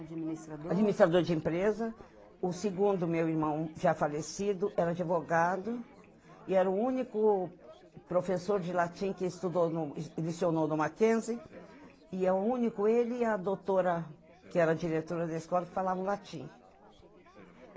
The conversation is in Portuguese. Administrador de empresa, o segundo meu irmão já falecido, era advogado, e era o único professor de latim que estudou e lecionou no Mackenzie, e é o único ele e a doutora, que era diretora da escola, que falavam latim.